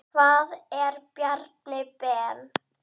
Hvað ef Bjarni Ben.